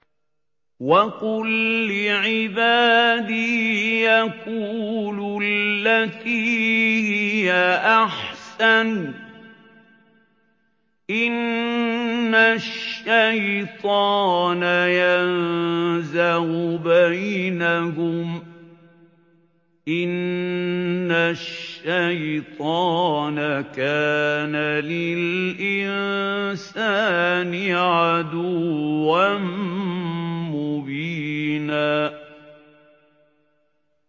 وَقُل لِّعِبَادِي يَقُولُوا الَّتِي هِيَ أَحْسَنُ ۚ إِنَّ الشَّيْطَانَ يَنزَغُ بَيْنَهُمْ ۚ إِنَّ الشَّيْطَانَ كَانَ لِلْإِنسَانِ عَدُوًّا مُّبِينًا